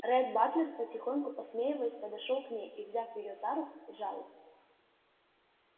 ретт батлер потихоньку посмеиваясь подошёл к ней и взяв её за руки сжал их